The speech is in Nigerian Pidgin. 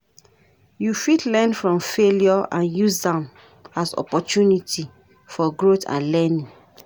You fit learn from failure and use am as opportunity for growth and learning.